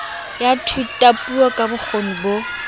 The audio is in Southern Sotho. ya thutapuo ka bokgoni bo